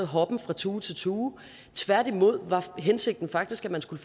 hoppen fra tue til tue tværtimod var hensigten faktisk at man skulle